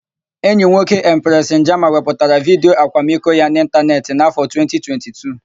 Enyi nwoke Empresị Njama wepụtara vidiyo akwamiko ya na ịntanetị n'áfọ̀ 2022.